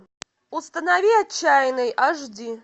установи отчаянный аш ди